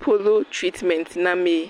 polo tritimenti namee.